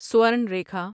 Swarn Rekha